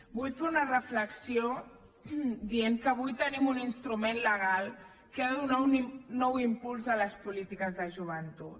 vull fer una reflexió dient que avui tenim un instrument legal que ha de donar un nou impuls a les polítiques de joventut